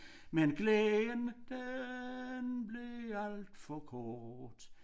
Men glæden den blev alt for kort